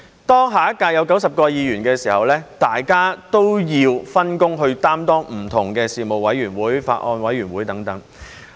當下一屆有90位議員時，大家也要分工擔當不同的事務委員會、法案委員會等的職務。